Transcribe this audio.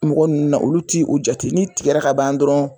Mɔgɔ ninnu olu ti o jate n'i tigɛrɛ ka ban dɔrɔn.